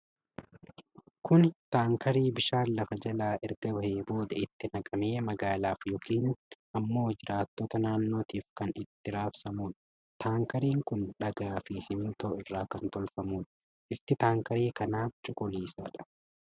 Kuni taankarii bishaan lafa jalaa erga bahee booda itti naqamee, magaalaaf yookiin ammoo jiraattota naannootiif kan itti raabsaamuudha. Taankariin kun dhagaa fi simintoo irraa kan tolfamuudha. Bifti taankarii kanaa cuquliisadha.